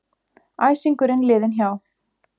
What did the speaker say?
Æsingurinn liðinn hjá.